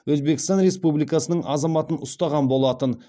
өзбекстан республикасының азаматын ұстаған болатын